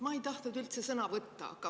Ma ei tahtnud üldse sõna võtta.